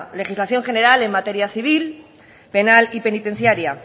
legislación general en materia civil penal y penitenciaria